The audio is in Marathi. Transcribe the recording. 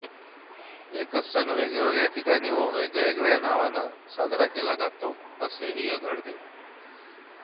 एकच सण वेगवेगळ्या ठिकाणी व वेगवेगळ्या नावाने साजरा केला जातो असेही घडते